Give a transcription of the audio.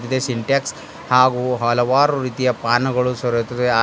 ಇದೆ ಸಿಂಟ್ಯಾಕ್ಸ್ ಹಾಗು ಹಲವಾರು ರೀತಿಯ ಪಾನಗಳು ಸೋರಿಯುತ್ತವೆ ಆ--